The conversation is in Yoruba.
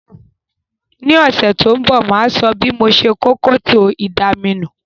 Ní òsẹ̀ to n bò, máa so bí mo se kó kòtò ìdaminù